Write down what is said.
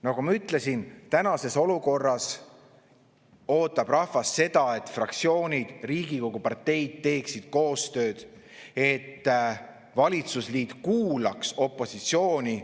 Nagu ma ütlesin, tänases olukorras ootab rahvas seda, et fraktsioonid Riigikogus, parteid, teeksid koostööd, et valitsusliit kuulaks opositsiooni.